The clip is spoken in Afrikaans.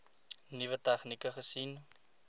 nuwe tegnieke gesien